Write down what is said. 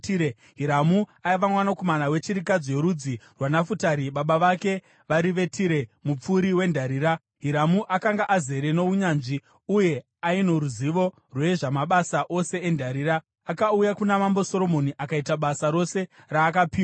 Hiramu aiva mwanakomana wechirikadzi yorudzi rwaNafutari, baba vake vari veTire, mupfuri wendarira. Hiramu akanga azere nounyanzvi, uye aino ruzivo rwezvamabasa ose endarira. Akauya kuna Mambo Soromoni akaita basa rose raakapiwa.